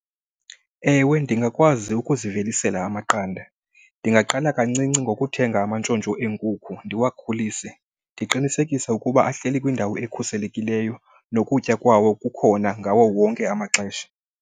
Ewe, ndingakwazi ukuzivelisela amaqanda. Ndingaqala kancinci ngokuthenga amantshontsho eenkukhu ndiwakhulise. Ndiqinisekisa ukuba ahleli kwindawo ekhuselekileyo nokutya kwawo kukhona ngawo wonke amaxesha.